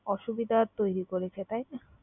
অসুবিধা তৈরি করেছে তাই না?